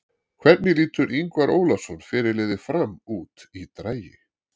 Hvernig lítur Ingvar Ólason fyrirliði FRAM út í dragi?